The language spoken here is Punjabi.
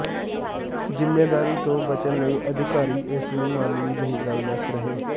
ਜ਼ਿੰਮੇਦਾਰੀ ਤੋਂ ਬਚਣ ਲਈ ਅਧਿਕਾਰੀ ਇਸ ਨੂੰ ਮਾਮੂਲੀ ਜਹੀ ਗੱਲ ਦੱਸ ਰਹੇ